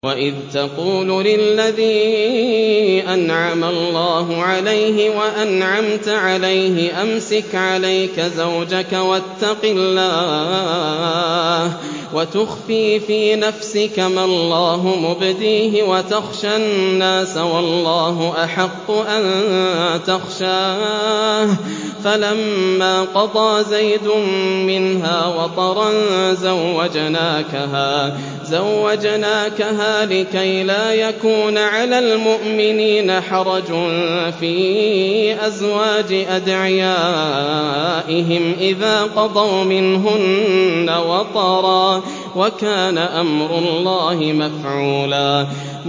وَإِذْ تَقُولُ لِلَّذِي أَنْعَمَ اللَّهُ عَلَيْهِ وَأَنْعَمْتَ عَلَيْهِ أَمْسِكْ عَلَيْكَ زَوْجَكَ وَاتَّقِ اللَّهَ وَتُخْفِي فِي نَفْسِكَ مَا اللَّهُ مُبْدِيهِ وَتَخْشَى النَّاسَ وَاللَّهُ أَحَقُّ أَن تَخْشَاهُ ۖ فَلَمَّا قَضَىٰ زَيْدٌ مِّنْهَا وَطَرًا زَوَّجْنَاكَهَا لِكَيْ لَا يَكُونَ عَلَى الْمُؤْمِنِينَ حَرَجٌ فِي أَزْوَاجِ أَدْعِيَائِهِمْ إِذَا قَضَوْا مِنْهُنَّ وَطَرًا ۚ وَكَانَ أَمْرُ اللَّهِ مَفْعُولًا